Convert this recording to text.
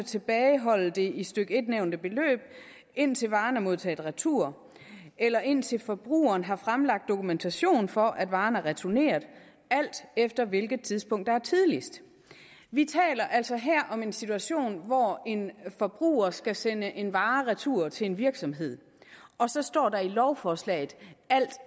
tilbageholde det i stykke en nævnte beløb indtil varen er modtaget retur eller indtil forbrugeren har fremlagt dokumentation for at varen er returneret alt efter hvilket tidspunkt der er tidligst vi taler altså her om en situation hvor en forbruger skal sende en vare retur til en virksomhed og så står der i lovforslaget alt